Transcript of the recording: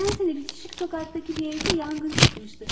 Geçen sene bitişik sokaktaki bir evde yangın çıkmıştı.